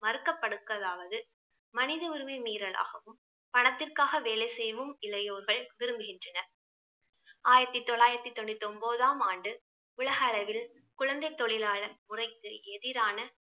மறுக்கப்படுக்கதாவது மனித உரிமை மீறலாகவும் பணத்திற்காக வேலை செய்யவும் இளையோர்கள் விரும்புகின்றனர். ஆயிரத்தி தொள்ளாயிரத்தி தொண்ணூத்தி ஒன்பதாம் ஆண்டு உலக அளவில் குழந்தை தொழிலாளர் முறைக்கு எதிரான